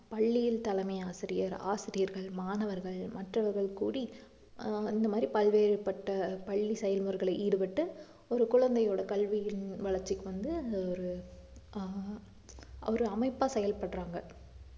பள்ளியின் தலைமை ஆசிரியர், ஆசிரியர்கள், மாணவர்கள் மற்றவர்கள் கூடி ஆஹ் இந்த மாதிரி பல்வேறுபட்ட பள்ளி செயல்முறைகளை ஈடுபட்டு ஒரு குழந்தையோட கல்வியின் வளர்ச்சிக்கு வந்து அந்த ஒரு ஆஹ் ஒரு அமைப்பா செயல்படுறாங்க